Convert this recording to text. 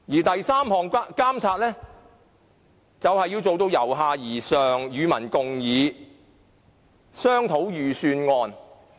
第三，監察工作要做到由下而上，與民共議，一起商討預算案。